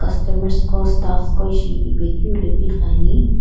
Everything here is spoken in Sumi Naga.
customers qo staffs qo ishi ipe keu ilo keu ithuluani.